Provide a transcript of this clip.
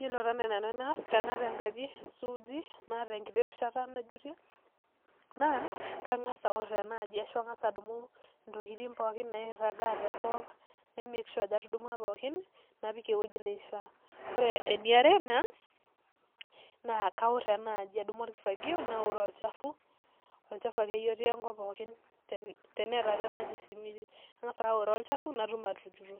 Yiolo taa naai nanu enaa tenaata enkaji suuji naata eriahata najutie naa kang'as aorr ena aji nang'as adumu ntokitin pookin nairragaa tenkop na make sure ajo atudumua pookin napik ewueji naishiia ore eniare naa kaorr ena aji, adumu orkifagio naoroo olchafu, olchafu akeyie otii enkop pookin teneeta taa ena aji esimiti ang'as ake aoroo olchafu pee atum atujuto